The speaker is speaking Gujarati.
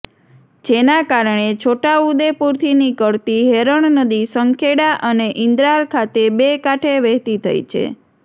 જેના કારણે છોટાઉદેપુરથી નીકળતી હેરણ નદી સંખેડા અને ઇન્દ્રાલ ખાતે બે કાંઠે વહેતી થઈ છે